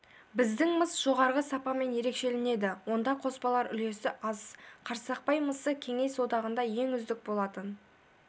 біздің мыс жоғары сапасымен ерекшеленеді онда қоспалар үлесі аз қарсақпай мысы кеңес одағында ең үздік болатын